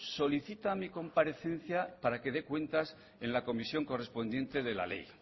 solicita mi comparecencia para que dé cuentas en la comisión correspondiente de la ley